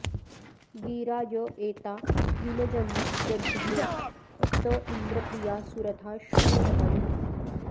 गि॒रा य ए॒ता यु॒नज॒द्धरी॑ त॒ इन्द्र॑ प्रि॒या सु॒रथा॑ शूर धा॒यू